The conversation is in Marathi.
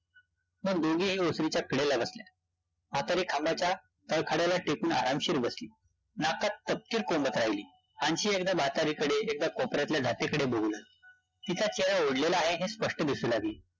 मग दोघेही ओसरीच्या कडेला बसल्या, म्हातारी खांबाच्या तळखड्याला टेकून आरामशीर बसली, नाकात तपकीर कोंबत राहिली, अन्शी एकदा म्हातारीकडे एकदा कोपऱ्यातल्या जातीकडे बघू लागली, तिचा चेहरा ओढलेला आहे हे स्पष्ट दिसू लागले